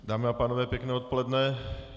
Dámy a pánové, pěkné odpoledne.